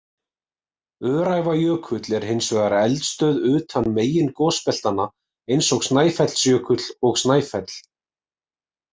Öræfajökull er hins vegar eldstöð utan megin gosbeltanna, eins og Snæfellsjökull og Snæfell.